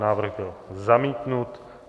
Návrh byl zamítnut.